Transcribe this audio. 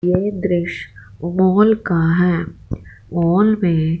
यह दृश्य मॉल का है मॉल में--